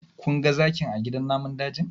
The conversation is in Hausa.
Kun ga zakin a gidan namun dajin?